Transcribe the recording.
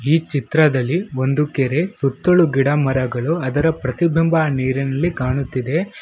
ಈ ಚಿತ್ರದಲ್ಲಿ ಒಂದು ಕೆರೆ ಸುತ್ತಲೂ ಗಿಡಮರಗಳು ಅದರ ಪ್ರತಿಬಿಂಬ ನೀರಿನಲ್ಲಿ ಕಾಣುತ್ತಿದೆ.